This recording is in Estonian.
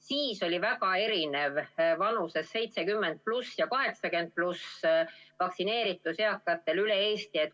Siis oli väga erinev vanuses 70+ ja 80+ vaktsineeritus üle Eesti.